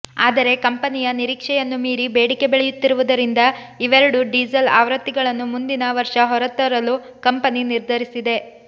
ಆದರೆ ಕಂಪನಿಯ ನಿರೀಕ್ಷೆಯನ್ನೂ ಮೀರಿ ಬೇಡಿಕೆ ಬೆಳೆಯುತ್ತಿರುವುದರಿಂದ ಇವೆರಡು ಡೀಸಲ್ ಆವೃತ್ತಿಗಳನ್ನು ಮುಂದಿನ ವರ್ಷ ಹೊರತರಲು ಕಂಪನಿ ನಿರ್ಧರಿಸಿದೆ